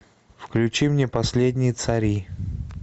включи мне последние цари